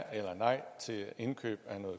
indkøbe